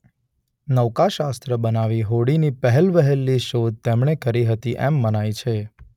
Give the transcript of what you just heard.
નૌકાશાસ્ત્ર બનાવી હોડીની પહેલવહેલી શોધ તેમણે કરી હતી એમ મનાય છે.